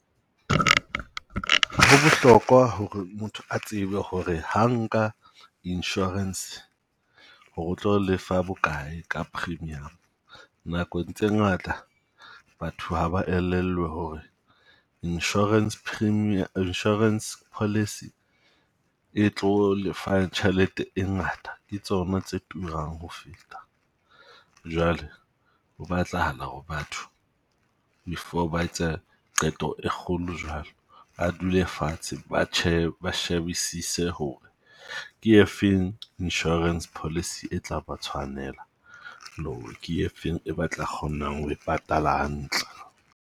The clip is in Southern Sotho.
Ho bohlokwa hore motho a tsebe ho re ha nka insurance hore o tlo lefa bokae ka premium. Nakong tse ngata batho haba elellwe hore insurance , insurance policy e tlo lefa tjhelete e ngata ke tsona tse turang ho feta. Jwale ho batlahala hore batho before ba etsa qeto e kgolo jwalo a dule fatshe, ba ba shebisise ho re ke efeng insurance policy e tla ba tshwanela. Le ho re ke efeng e ba tla kgonang ho e patalang hantle.